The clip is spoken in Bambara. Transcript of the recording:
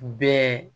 Bɛɛ